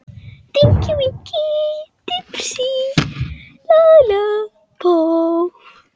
Skerið sellerí í litla bita.